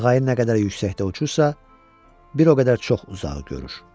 Qağayı nə qədər yüksəkdə uçursa, bir o qədər çox uzağı görür.